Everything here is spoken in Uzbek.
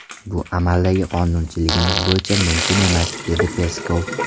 Bu amaldagi qonunchiligimiz bo‘yicha mumkin emas”, dedi Peskov.